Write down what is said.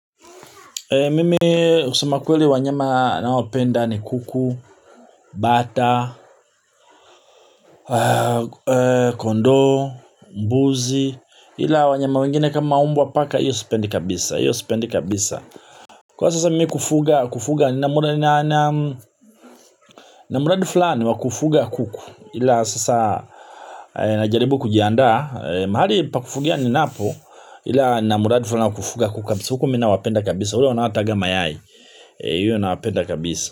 Mimi kusema kweli wanyama nawapenda ni kuku, bata, kondoo, mbuzi, ila wanyama wengine kama mbwa paka, hiyo sipendi kabisa, hiyo sipendi kabisa. Kwa sasa mimi kufuga, kufuga, na mradi fulani wa kufuga kuku, ila sasa najaribu kujiandaa, mahali pa kufugia ninapo, ila na mradi fulani wa kufuga kuku kabisaa, kuku mi nawapenda kabisa, ule wanaotaga mayai, hiyo nawapenda kabisa.